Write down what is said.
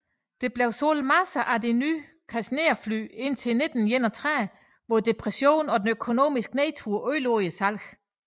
Der blev solgt masser af de nye Cessna fly indtil 1931 hvor Depressionen og den økonomiske nedtur ødelagde salget